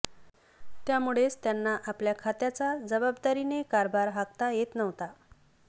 त्यामुळेच त्यांना आपल्या खात्याचा जबाबदारीने कारभार हाकता येत नव्हता